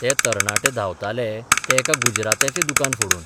ते तरणाटे धांवताले ते एका गुजरात्याचें दुकान फोडून.